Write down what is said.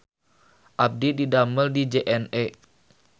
Abdi didamel di JNE